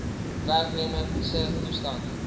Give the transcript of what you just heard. werknemer se toestand